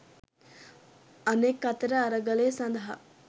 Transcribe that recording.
අනෙක් අතට අරගලය සඳහා